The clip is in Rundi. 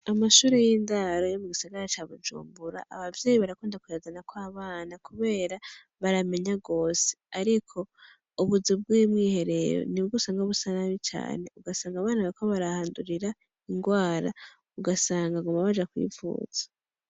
Amashure y'indaro yo mu gisagara ca Bujumbura, abavyeyi barakunda kuyazanako abana kubera baramenya gose ariko ubuzu bw'umwiherero nibwo usanga busa nabi cane, ugasanga abana bariko barahandurira ingwara, ugasanga baguma baja kwivuza.